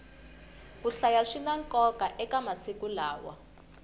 ku hlaya swina nkoka eka masiku lawa